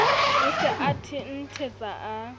o se a thenthetsa a